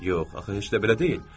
Yox, axı heç də belə deyil.